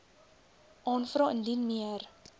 aanvra indien meer